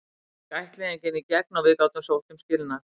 Svo gekk ættleiðingin í gegn og við gátum sótt um skilnað.